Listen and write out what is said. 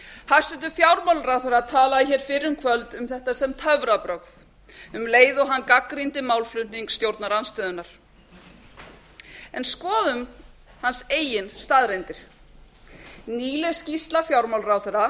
hæstvirtur fjármálaráðherra talaði hér fyrir í kvöld um þetta sem töfrabrögð um leið og hann gagnrýndi málflutning stjórnarandstöðunnar en skoðum hans eigin staðreyndir nýleg skýrsla fjármálaráðherra